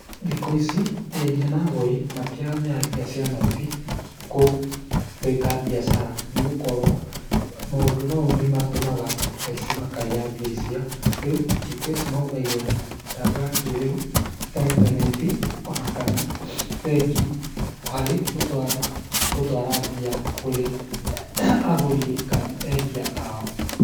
Thikũ ici endia na agũri matirahũthĩra mbeca cia noti gwĩka biacara, nĩgũkorwo maũndũ maũ nĩmatũmaga aici makaiya mbia icio, rĩũ thikũ ici mahũthagĩra mĩtambo ya kĩrĩu ta intaneti ona kana bengi hari gũtwara mbia kũrĩ agũri kana endia ao.